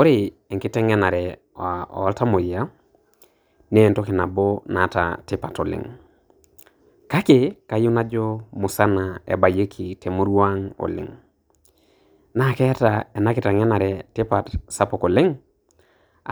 Ore enkitangenare oltamoyia na entoki nabo naata tipat oleng, kake kayieu najo musana ebayieki temurua ang oleng, naa keeta ena kitengenare tipat sapuk oleng